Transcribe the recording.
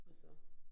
Og så